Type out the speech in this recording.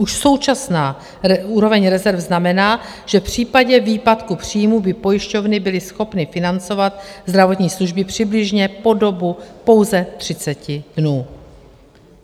Už současná úroveň rezerv znamená, že v případě výpadku příjmů by pojišťovny byly schopny financovat zdravotní služby přibližně po dobu pouze 30 dnů.